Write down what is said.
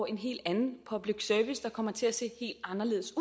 en helt anden public service der kommer til at se helt anderledes